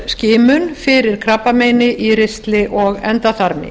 skimun fyrir krabbameini í ristli og endaþarmi